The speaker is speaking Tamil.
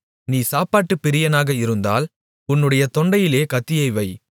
நீ சாப்பாட்டு பிரியனாக இருந்தால் உன்னுடைய தொண்டையிலே கத்தியை வை